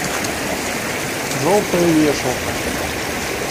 желтая вешалка